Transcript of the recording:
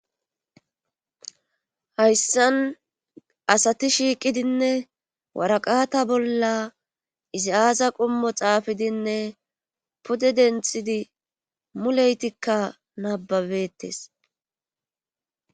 hayssan asati shiiqidinne waraqata bolla izi aaza qummo xaafidinne pude denthidi muleytikka nababetes